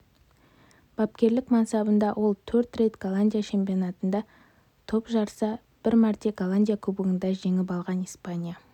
бапкерлік мансабында ол төрт рет голландия чемпионатында топ жарса бір мәрте голландия кубогында жеңіп алған испания